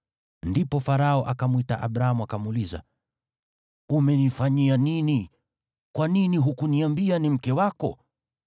Ndipo Farao akamwita Abramu, akamuuliza, “Umenifanyia nini? Kwa nini hukuniambia ni mke wako?